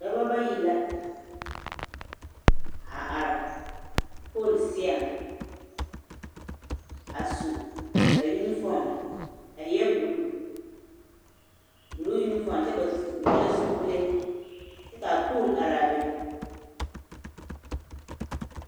Dɔbɔ bayi la a are pooli seɛŋ a su yunifoom a eɛ buluu, buluu yunifoom kyɛ ba vɔgelɛɛ zupile kyɛ k'a pooli araa be.